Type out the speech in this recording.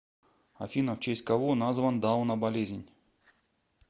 афина в честь кого назван дауна болезнь